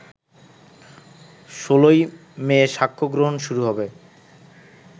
১৬ই মে সাক্ষ্য গ্রহণ শুরু হবে